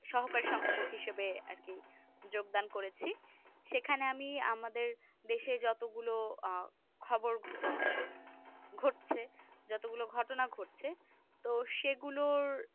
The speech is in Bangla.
সহকারী সংপাদক হিসেবে আর কি যোগদান করেছি সেখানে আমি আমাদের দেশে যতগুলো আঃ খবর আঃ ঘটছে যতগুলো ঘটনা ঘটছে তো সেই গুলোর